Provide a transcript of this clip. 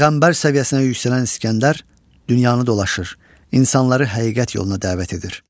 Peyğəmbər səviyyəsinə yüksələn İsgəndər dünyanı dolaşır, insanları həqiqət yoluna dəvət edir.